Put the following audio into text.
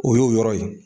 O y'o yɔrɔ ye